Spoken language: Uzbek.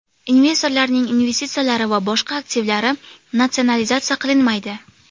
Investorlarning investitsiyalari va boshqa aktivlari natsionalizatsiya qilinmaydi.